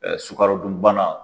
sukarodunbana